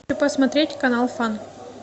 посмотреть канал фан